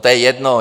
To je jedno.